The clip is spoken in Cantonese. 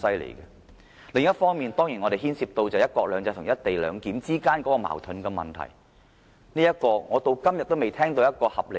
另一方面，當然，這方案牽涉到"一國兩制"和"一地兩檢"之間的矛盾，而有關這方面，我至今仍未聽到合理答案。